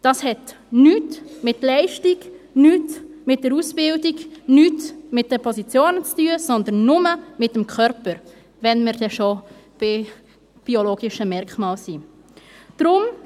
Dies hat nichts mit Leistung, nichts mit der Ausbildung, nichts mit den Positionen zu tun, sondern nur mit dem Körper, wenn wir denn schon bei biologischen Merkmalen sind.